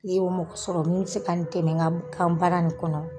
N'e y'o mɔgɔ sɔrɔ min me se ka n dɛmɛ ŋa b kan baara nin kɔnɔ